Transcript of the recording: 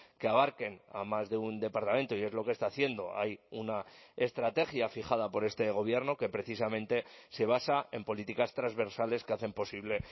que abarquen a más de un departamento y es lo que está haciendo hay una estrategia fijada por este gobierno que precisamente se basa en políticas transversales que hacen posible